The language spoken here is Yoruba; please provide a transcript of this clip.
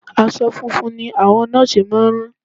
Aṣọ funfun ni àwọn Nọ́ọ̀sì máa rán